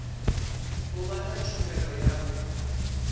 u vha na tshumelo ya